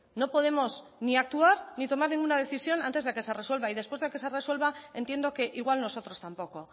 no podemos ni actuar ni tomar ninguna decisión antes de que se resuelva y después de que se resuelva entiendo que igual nosotros tampoco